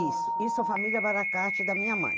Isso, isso é a família Baracate da minha mãe.